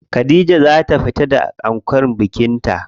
Khadija za ta fito da ankon bikin ta.